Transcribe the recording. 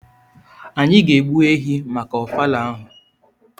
anyi ga egbu ehi maka ofala ahụ.